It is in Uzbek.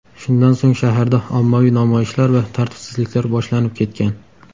Shundan so‘ng shaharda ommaviy namoyishlar va tartibsizliklar boshlanib ketgan.